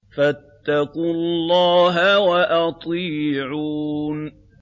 فَاتَّقُوا اللَّهَ وَأَطِيعُونِ